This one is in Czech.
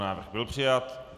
Návrh byl přijat.